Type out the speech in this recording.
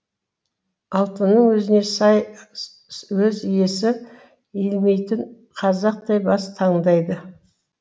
алтынның өзіне сай өз иесі иілмейтін қазақтай бас таңдайды